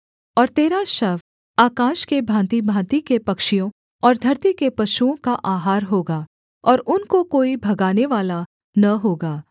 और तेरा शव आकाश के भाँतिभाँति के पक्षियों और धरती के पशुओं का आहार होगा और उनको कोई भगानेवाला न होगा